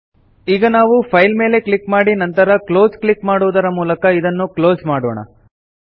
ಈಗ ನಾವು ಫೈಲ್ ಮೇಲೆ ಕ್ಲಿಕ್ ಮಾಡಿ ನಂತರ ಕ್ಲೋಸ್ ಕ್ಲಿಕ್ ಮಾಡುವುದರ ಮೂಲಕ ಇದನ್ನು ಕ್ಲೋಸ್ ಮಾಡೋಣ